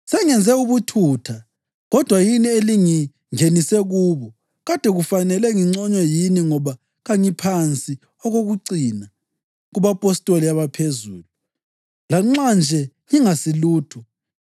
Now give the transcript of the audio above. Sengenze ubuthutha, kodwa yini elingingenise kubo. Kade kufanele nginconywe yini ngoba kangiphansi okokucina “kubapostoli abaphezulu,” lanxa nje ngingasilutho.